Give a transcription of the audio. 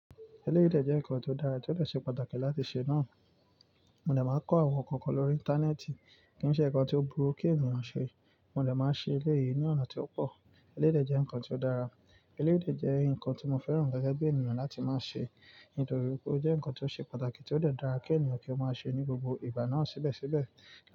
Eléyi dè jẹ́ ǹkan tó dára, tí ó dè ṣe pàtàkì láti ṣe náà. Mo de máa n kọ́ àwọ̀n nkankan lórí Íńtánẹ́ẹ̀tì, kí ń ṣe ǹkan tí ó burú kí ènìyàn ṣe. Mo de máa ṣe eléyìí ní ọ̀nà tí ó pọ̀. Elédè jẹ́ ǹkan tí ó dára. Elédè jẹ́ ǹkan tí mo fẹ́ràn gẹ́gẹ́ bí ènìyàn láti máa ṣe, nítorí pé ó jẹ́ ǹkan tí ó ṣe pàtàkì, tí ó de dára kí ènìyàn kí ó máa ṣe ní gbogbo ìgbà náà sílesile.